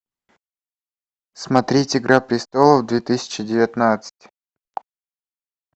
смотреть игра престолов две тысячи девятнадцать